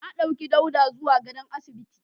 Na dauke Dauda zuwa gadon asibiti.